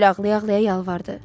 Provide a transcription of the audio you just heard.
Sibil ağlaya-ağlaya yalvardı.